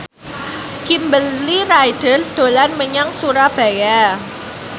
Kimberly Ryder dolan menyang Surabaya